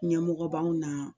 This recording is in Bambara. Ɲɛmɔgɔ b'anw na